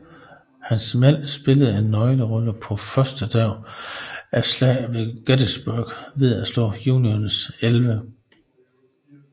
Hans mænd spillede en nøglerolle på førstedagen af Slaget ved Gettysburg ved at slå Unionens 11